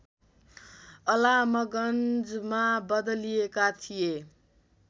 अलामगञ्जमा बदलिदिएका थिए